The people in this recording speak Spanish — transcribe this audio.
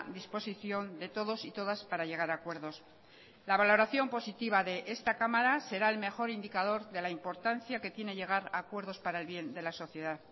disposición de todos y todas para llegar a acuerdos la valoración positiva de esta cámara será el mejor indicador de la importancia que tiene llegar a acuerdos para el bien de la sociedad